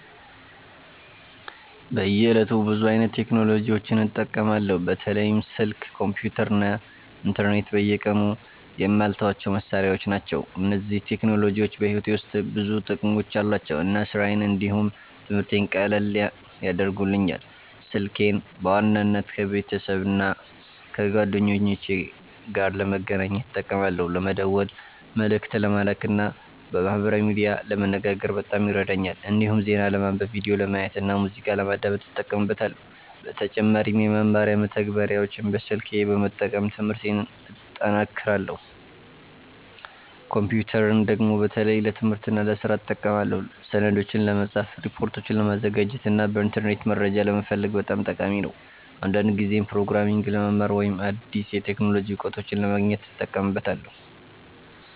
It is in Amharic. በየዕለቱ ብዙ አይነት ቴክኖሎጂዎችን እጠቀማለሁ። በተለይም ስልክ፣ ኮምፒተር እና ኢንተርኔት በየቀኑ የማልተዋቸው መሳሪያዎች ናቸው። እነዚህ ቴክኖሎጂዎች በሕይወቴ ውስጥ ብዙ ጥቅሞች አሏቸው እና ስራዬን እንዲሁም ትምህርቴን ቀላል ያደርጉልኛል። ስልኬን በዋናነት ከቤተሰብና ከጓደኞቼ ጋር ለመገናኘት እጠቀማለሁ። ለመደወል፣ መልእክት ለመላክ እና በማህበራዊ ሚዲያ ለመነጋገር በጣም ይረዳኛል። እንዲሁም ዜና ለማንበብ፣ ቪዲዮ ለማየት እና ሙዚቃ ለማዳመጥ እጠቀምበታለሁ። በተጨማሪም የመማሪያ መተግበሪያዎችን በስልኬ በመጠቀም ትምህርቴን እጠናክራለሁ። ኮምፒተርን ደግሞ በተለይ ለትምህርትና ለስራ እጠቀማለሁ። ሰነዶችን ለመጻፍ፣ ሪፖርቶችን ለማዘጋጀት እና በኢንተርኔት መረጃ ለመፈለግ በጣም ጠቃሚ ነው። አንዳንድ ጊዜም ፕሮግራሚንግ ለመማር ወይም አዲስ የቴክኖሎጂ እውቀቶችን ለማግኘት እጠቀምበታለሁ።